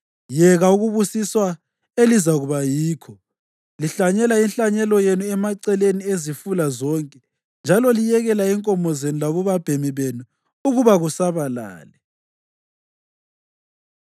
yeka ukubusiswa elizakuba yikho, lihlanyela inhlanyelo yenu emaceleni ezifula zonke, njalo liyekela inkomo zenu labobabhemi benu ukuba kusabalale.